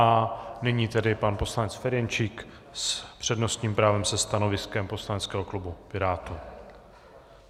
A nyní tedy pan poslanec Ferjenčík s přednostním právem se stanoviskem poslaneckého klubu Pirátů.